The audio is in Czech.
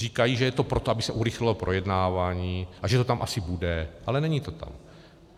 Říkají, že je to proto, aby se urychlilo projednávání, a že to tam asi bude, ale není to tam.